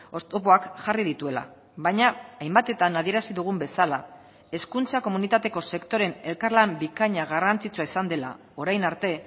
oztopoak jarri dituela baina hainbatetan adierazi dugun bezala hezkuntza komunitateko sektoreen elkarlan bikaina garrantzitsua izan dela orain arte